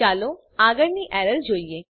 ચાલો આગળની એરરને જોઈએ